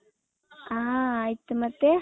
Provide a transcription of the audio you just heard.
ಹ ಆಯ್ತು ಮತ್ತೆ .